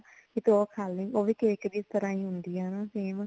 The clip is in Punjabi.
ਤੇ ਤੂੰ ਉਹ ਖਾ ਲੀ ਉਹ ਵੀ cake ਦੀ ਤਰਾਂ ਹੀ ਹੁੰਦੀ ਆ ਹਨਾਂ same